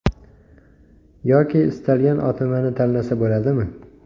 Yoki istalgan OTMni tanlasa bo‘ladimi?